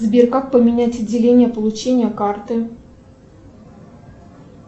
сбер как поменять отделение получения карты